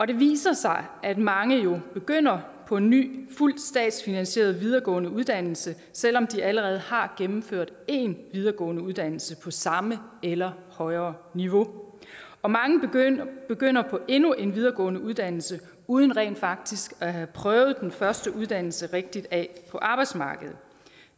det viser sig at mange jo begynder på en ny fuldt statsfinansieret videregående uddannelse selv om de allerede har gennemført en videregående uddannelse på samme eller højere niveau og mange begynder begynder på endnu en videregående uddannelse uden rent faktisk at have prøvet den første uddannelse rigtig af på arbejdsmarkedet